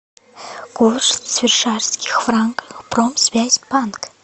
курс швейцарских франков промсвязьбанк